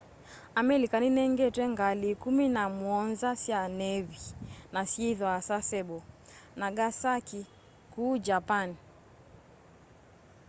amelika ninengetwe ngali ikumi na muonza sya nevi na syithwaa sasebo nagasaki kuu japani